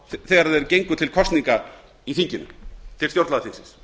fá þegar þeir gengu til kosninga í þinginu til stjórnlagaþings